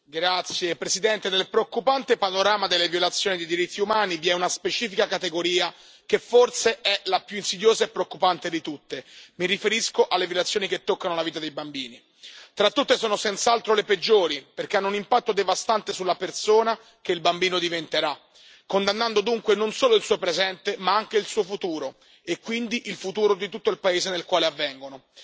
Signora Presidente, onorevoli colleghi, nel preoccupante panorama delle violazioni dei diritti umani vi è una specifica categoria, che forse è la più insidiosa e preoccupante di tutte, mi riferisco alle violazioni che toccano la vita dei bambini. Tra tutte sono senz'altro le peggiori, perché hanno un impatto devastante sulla persona che il bambino diventerà, condannando dunque non solo il suo presente, ma anche il suo futuro e quindi il futuro di tutto il paese nel quale avvengono.